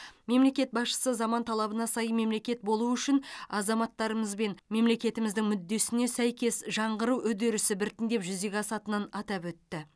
мемлекет басшысы заман талабына сай мемлекет болу үшін азаматтарымыз бен мемлекетіміздің мүддесіне сәйкес жаңғыру үдерісі біртіндеп жүзеге асатынын атап өтті